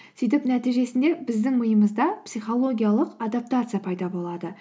сөйтіп нәтижесінде біздің миымызда психологиялық адаптация пайда болады